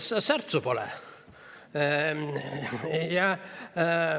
Särtsu pole!